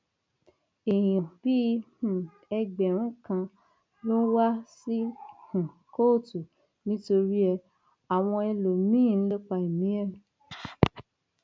èèyàn bíi um ẹgbẹrún kan ló ń wá sí um kóòtù nítorí ẹ àwọn ẹlòmíín ń lépa ẹmí ẹ